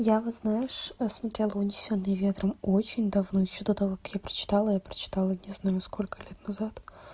я вот знаешь смотрела унесённые ветром очень давно ещё до того как я прочитала я прочитала не знаю сколько лет назад